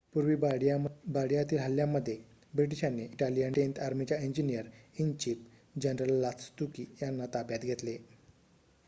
पूर्व बार्डीयातील हल्ल्यामध्ये ब्रिटिशांनी इटालियन टेन्थ आर्मीच्या इंजिनिअर-इन-चीफ जनरल लास्तुकी यांना ताब्यात घेतले